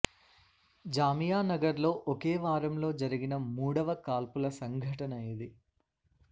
జామియా నగర్లో ఒకే వారంలో జరిగిన మూడవ కాల్పుల సంఘటన ఇది